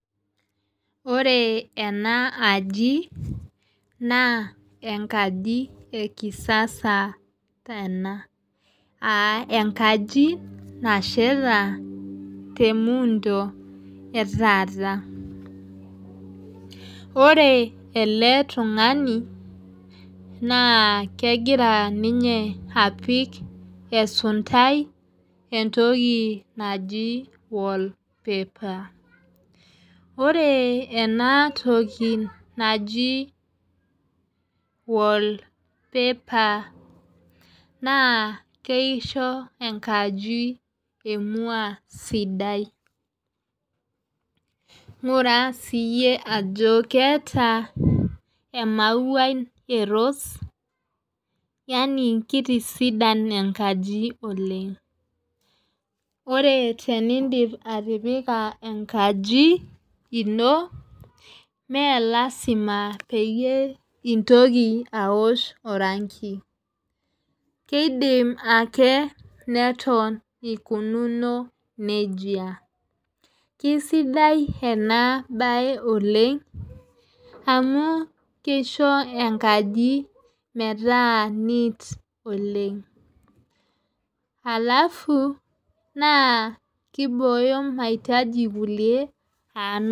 Ore ena aji naa enkaji ekisasa ena. Aa enkaji nasheta te muundo ee taata. Ore ele tung'ani naa kegira ninye apik esuntai entoki naji wall paper. Ore ena toki naji wall paper naa kisho enkaji emua sidai. Ngura sie ajo keeta emauai ee rose yaani keitisidan enkaji oleng'. Ore tenidip atipika ankaji ino mee lasima peyie intoki aosh oranki. Keidim ake neton ikununo neija. Kisidai enaa bae oleng' amuu kiisho enkaji meeta neat oleng' . Halafu naa kiboyo mahitaji kulie.